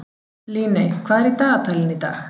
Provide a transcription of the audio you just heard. Líney, hvað er í dagatalinu í dag?